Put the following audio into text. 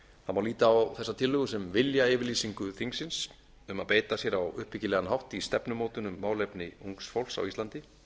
má líta á þessa tillögu sem viljayfirlýsingu þingsins um að beita sér á uppbyggilegan hátt í stefnumótun á málefni ungs fólks á íslandi